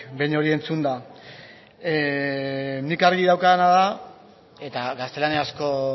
behin hori entzunda nik argi daukadana da eta gaztelaniazko